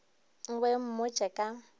o be o mmotše ka